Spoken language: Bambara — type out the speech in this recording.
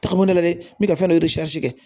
Tagama la dɛ n bɛ ka fɛn dɔ kɛ